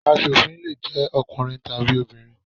Asòfin le jẹ́ ọkùnrin tàbí obìnrin.